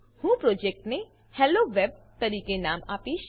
હું પ્રોજેક્ટને હેલોવેબ તરીકે નામ આપીશ